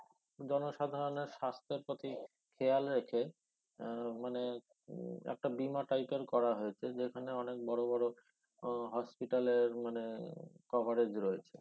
জনসাধারণের স্বাস্থ্যের প্রতি খেয়াল রেখে এর মানে উম একটা বীমা টাইপের করা হয়েছে যেখানে অনেক বড় বড় আহ hospital এর মানে আহ coverage রয়েছে